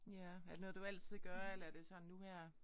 Ja er det noget du altid gør eller er det sådan nu her?